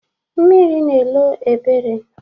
Mmiri na-elo Ebere.